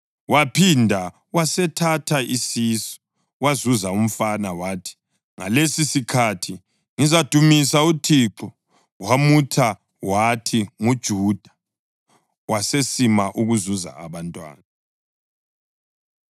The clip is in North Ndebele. Waphinda wasithatha isisu, wazuza umfana wathi, “Ngalesisikhathi ngizadumisa uThixo.” Wamutha wathi nguJuda. Wasesima ukuzuza abantwana.